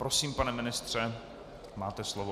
Prosím, pane ministře, máte slovo.